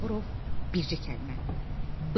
Bağırov bircə kəlmə: Bil.